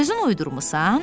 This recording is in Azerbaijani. Özün uydurmursan?